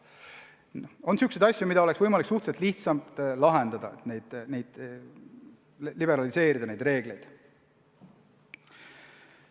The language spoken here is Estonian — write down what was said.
On probleeme, mida oleks võimalik suhteliselt lihtsalt lahendada, liberaliseerides reegleid.